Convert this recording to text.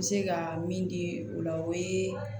N bɛ se ka min di o la o ye